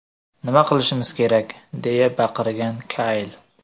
Nima qilishimiz kerak!”, deya baqirgan Kayl.